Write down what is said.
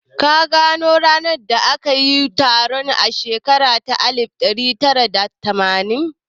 Ka gano ranar da aka yi taron a shekara ta alif ɗari tara da tamanin?